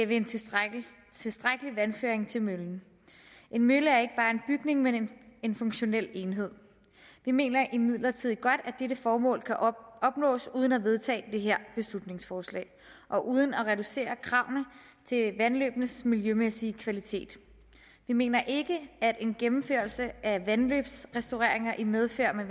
ved en tilstrækkelig tilstrækkelig vandføring til møllen en mølle er ikke bare en bygning men en funktionel enhed vi mener imidlertid godt at dette formål kan opnås uden at vedtage det her beslutningsforslag og uden at reducere kravene til vandløbenes miljømæssige kvalitet vi mener ikke at en gennemførelse af vandløbsrestaureringer i medfør af